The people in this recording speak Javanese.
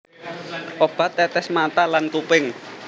Obat tetes mata lan kuping